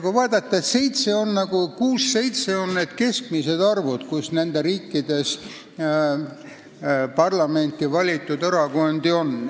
Kui vaadata eespool nimetatud riike, siis kuus ja seitse on need keskmised arvud, kui mitu nendes riikides parlamenti valitud erakondi on.